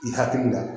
I hakili la